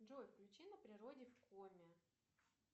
джой включи на природе в коме